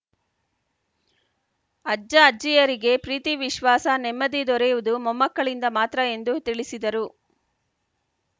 ಅಜ್ಜ ಅಜ್ಜಿಯರಿಗೆ ಪ್ರೀತಿ ವಿಶ್ವಾಸ ನೆಮ್ಮದಿ ದೊರೆಯುವುದು ಮೊಮ್ಮಕ್ಕಳಿಂದ ಮಾತ್ರ ಎಂದು ತಿಳಿಸಿದರು